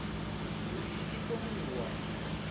uri i kone u wana